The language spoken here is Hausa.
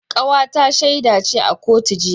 Kawata ta shaida ce a kotu jiya